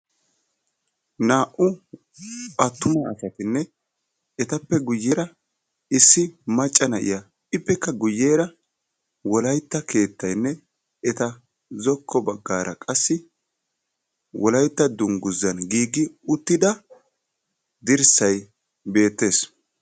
Naa'u attuma asatinne etappe guyyeera Issi macca na'iya ippekka guyyeera wolaytta keettaynne eta zokko baggaara qassi wolaytta dungguzaa giugi uttida dirssayi beettes.